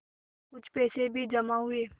कुछ पैसे भी जमा हुए